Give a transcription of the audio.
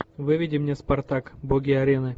выведи мне спартак боги арены